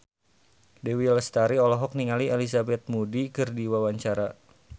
Dewi Lestari olohok ningali Elizabeth Moody keur diwawancara